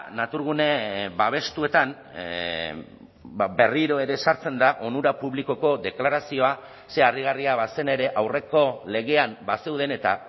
naturgune babestuetan berriro ere sartzen da onura publikoko deklarazioa ze harrigarria bazen ere aurreko legean bazeuden eta